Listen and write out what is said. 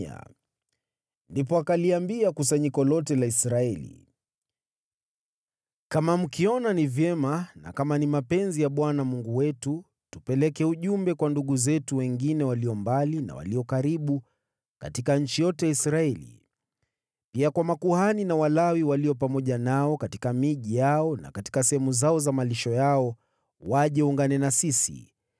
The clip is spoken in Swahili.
Ndipo Daudi akaliambia kusanyiko lote la Israeli, “Kama mkiona ni vyema, na kama ni mapenzi ya Bwana Mungu wetu, tupeleke ujumbe kwa ndugu zetu wengine walio mbali na walio karibu katika nchi yote ya Israeli, pia kwa makuhani na Walawi walio pamoja nao katika miji yao na katika sehemu zao za malisho yao, waje waungane na sisi.